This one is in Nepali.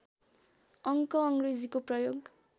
अङ्क अङ्ग्रेजीको प्रयोग